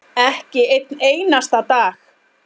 Ekki einn einasta dag.